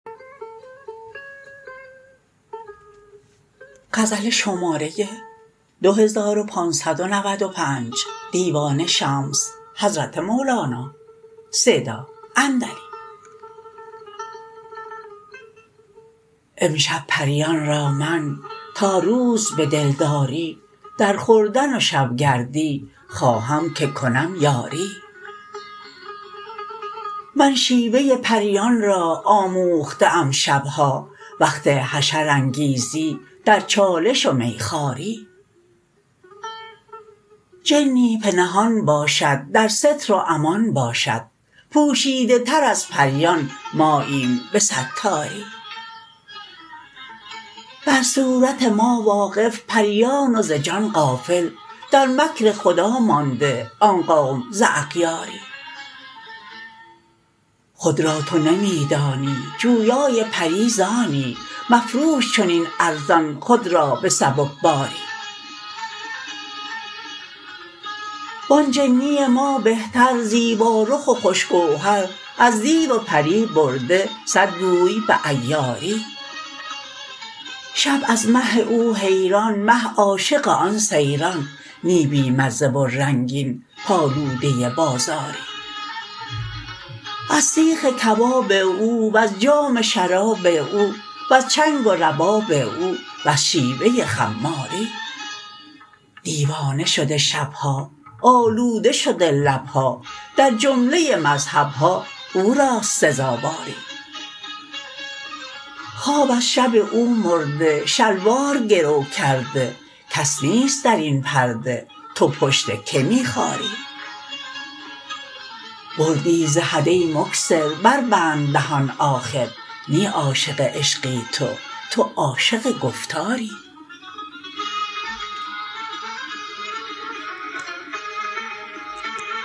امشب پریان را من تا روز به دلداری در خوردن و شب گردی خواهم که کنم یاری من شیوه پریان را آموخته ام شب ها وقت حشرانگیزی در چالش و میخواری جنی پنهان باشد در ستر و امان باشد پوشیده تر از پریان ماییم به ستاری بر صورت ما واقف پریان و ز جان غافل در مکر خدا مانده آن قوم ز اغیاری خود را تو نمی دانی جویای پری ز آنی مفروش چنین ارزان خود را به سبکباری و آن جنی ما بهتر زیبارخ و خوش گوهر از دیو و پری برده صد گوی به عیاری شب از مه او حیران مه عاشق آن سیران نی بی مزه و رنگین پالوده بازاری از سیخ کباب او وز جام شراب او وز چنگ و رباب او وز شیوه خماری دیوانه شده شب ها آلوده شده لب ها در جمله مذهب ها او راست سزاواری خواب از شب او مرده شلوار گرو کرده کس نیست در این پرده تو پشت کی می خاری بردی ز حد ای مکثر بربند دهان آخر نی عاشق عشقی تو تو عاشق گفتاری